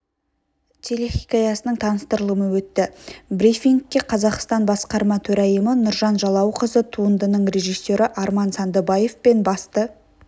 телехикаясының таныстырылымы өтті брифингке қазақстан басқарма төрайымы нұржан жалауқызы туындының режиссері арман сандыбаев пен басты